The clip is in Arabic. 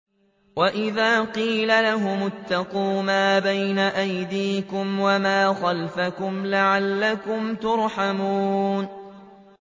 وَإِذَا قِيلَ لَهُمُ اتَّقُوا مَا بَيْنَ أَيْدِيكُمْ وَمَا خَلْفَكُمْ لَعَلَّكُمْ تُرْحَمُونَ